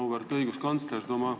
Auväärt õiguskantsler!